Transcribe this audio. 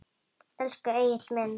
Elsku Egill minn.